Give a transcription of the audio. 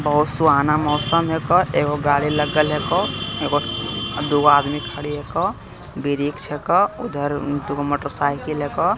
बहुत सुहाना मौसम हेको एगो गाड़ी लगल हेको एगो दुगो आदमी खड़ी हेको वृक्ष हेको उधर दुगो मोटर साइकिल हेको।